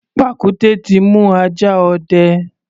Pàkúté ti mú ajá ọdẹ.